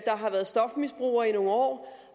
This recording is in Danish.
har været stofmisbruger i nogle år